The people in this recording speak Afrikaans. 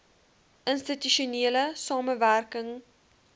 institusionele samewerk ing